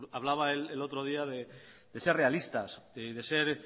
hablaba el otro día de ser realistas de ser